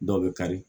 Dɔ bɛ kari